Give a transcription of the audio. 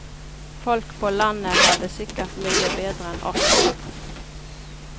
Folk på landet har det sikkert mye bedre enn oss.